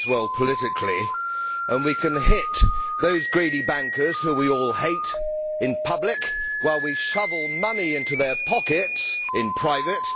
It plays well politically, and we can hit those greedy bankers, whom we all hate in public while we shovel money into their pockets in private.